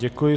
Děkuji.